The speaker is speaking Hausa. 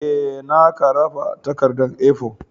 Ee, na karaba takarda A4.